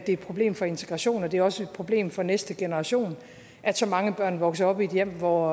et problem for integrationen og det er også et problem for næste generation at så mange børn vokser op i et hjem hvor